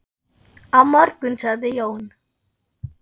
Á morgun sagði Jón.